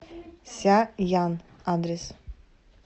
ся ян адрес